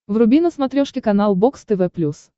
вруби на смотрешке канал бокс тв плюс